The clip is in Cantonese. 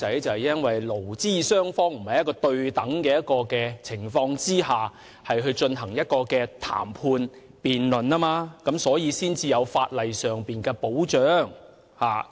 就是因為勞資雙方並非在對等的情況下進行談判或辯論，因此有需要在法例上為"打工仔"提供保障。